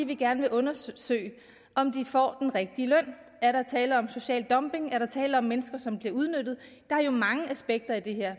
vi gerne vil undersøge om de får den rigtige løn er der tale om social dumping er der tale om mennesker som bliver udnyttet der er jo mange aspekter i det